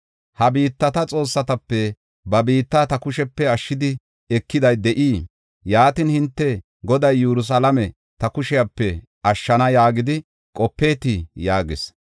Ha biittata xoossatape ba biitta ta kushepe ashshidi ekiday de7ii? Yaatin hinte, ‘Goday Yerusalaame ta kushepe ashshana’ yaagidi qopeetii?” yaagis.